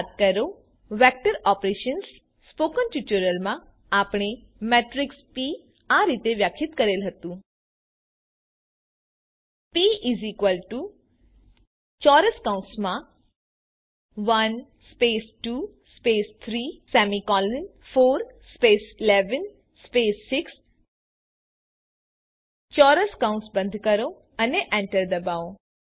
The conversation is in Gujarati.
યાદ કરો વેક્ટર ઓપરેશન્સ સ્પોકન ટ્યુટોરીયલમાં આપણે મેટ્રીક્સ પ આ રીતે વ્યાખ્યાયિત કરેલ હતું પ 1 2 34 11 6 ચોરસ કૌસ બંધ કરો અને એન્ટર ડબાઓ